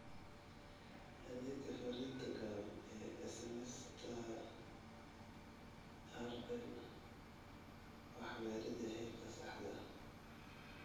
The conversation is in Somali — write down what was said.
Adeegga Fariinta gaaban ee SMSTaRL Waxbaridda heerka saxda ah